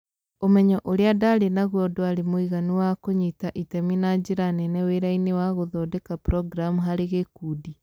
Ũmenyo ũrĩa ndaarĩ naguo ndwarĩ mũiganu wa kũnyita itemi na njĩra nene wĩra-inĩ wa gũthondeka programu harĩ gĩkundi